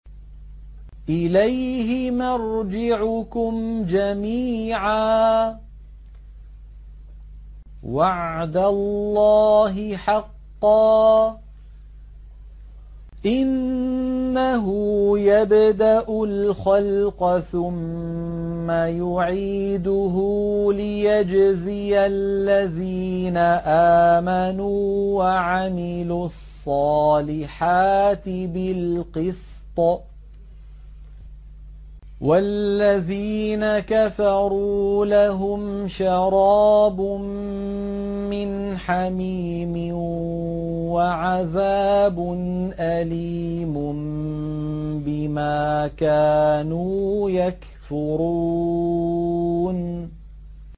إِلَيْهِ مَرْجِعُكُمْ جَمِيعًا ۖ وَعْدَ اللَّهِ حَقًّا ۚ إِنَّهُ يَبْدَأُ الْخَلْقَ ثُمَّ يُعِيدُهُ لِيَجْزِيَ الَّذِينَ آمَنُوا وَعَمِلُوا الصَّالِحَاتِ بِالْقِسْطِ ۚ وَالَّذِينَ كَفَرُوا لَهُمْ شَرَابٌ مِّنْ حَمِيمٍ وَعَذَابٌ أَلِيمٌ بِمَا كَانُوا يَكْفُرُونَ